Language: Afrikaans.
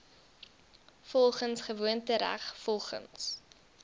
volgens gewoontereg volgens